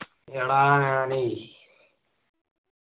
എടാ ഞാനെയ്